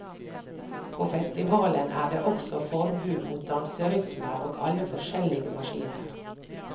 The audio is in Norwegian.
På festivalen er det også forbud mot danserytmer og alle forskjellige maskiner.